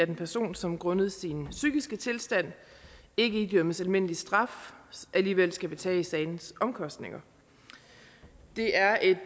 en person som grundet sin psykiske tilstand ikke idømmes almindelig straf alligevel skal betale sagens omkostninger det er et